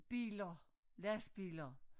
Biler lastbiler